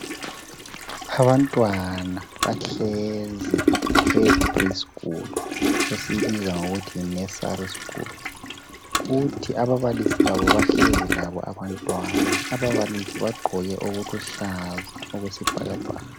Abantwana bahlezi epre-school esiyibiza ngokuthi yinursery school. Kuthi ababalisi babo bahlezi labo abantwana. Ababalisi bagqoke okuluhlaza okwesibhakabhaka.